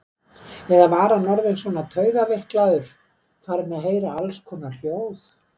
Eða var hann orðinn svona taugaveiklaður, farinn að heyra allskonar hljóð?